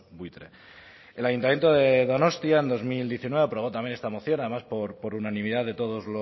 buitre el ayuntamiento de donostia en dos mil diecinueve aprobó también esta moción además por unanimidad de todos